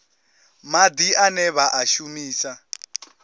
madi ane vha a shumisa